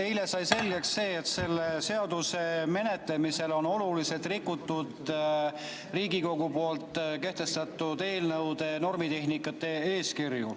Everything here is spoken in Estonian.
Eile sai selgeks, et selle seaduse menetlemisel on oluliselt rikutud Riigikogu kehtestatud eelnõude normitehnika eeskirja.